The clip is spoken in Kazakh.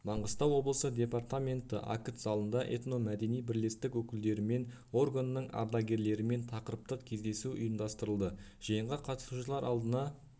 маңғыстау облысы департменті акт залында этномәдени бірлестік өкілдерімен органының ардагерлерімен тақырыптық кездесу ұйымдастырылды жиынға қатысушылар алдына